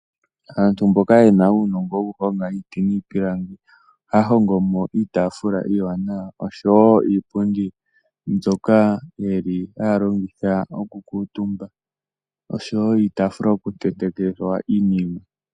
Aantu mboka yena uunongo woku honga iiti niipilangi, ohaya hongomo iitaafula iiwaanawa osho woo iipundi mbyoka yeli haya longitha oku kuutumba, osho wo iitaafula yoku tetekithwa iinima.